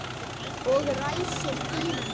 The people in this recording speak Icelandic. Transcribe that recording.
Og ræsir bílinn.